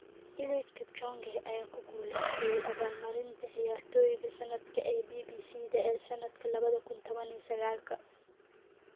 Eliud Kipchoge ayaa ku guulaystay abaal marinta ciyaartoyga sanadka ee BBC-da ee sanadka 2019-ka